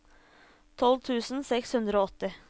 tolv tusen seks hundre og åtti